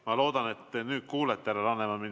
Ma loodan, et te nüüd kuulete mind, härra Laneman.